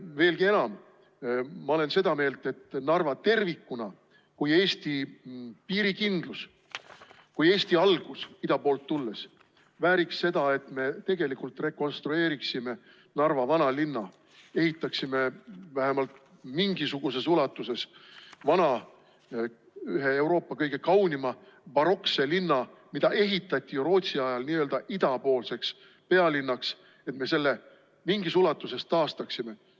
Veelgi enam, ma olen seda meelt, et Narva tervikuna kui Eesti piirikindlus, kui Eesti algus ida poolt tulles vääriks seda, et me rekonstrueeriksime Narva vanalinna, ehitaksime vähemalt mingisuguses ulatuses üles vana, ühe Euroopa kõige kaunima barokse linna, mis ehitati ju Rootsi ajal n‑ö idapoolseks pealinnaks, et me selle mingis ulatuses taastaksime.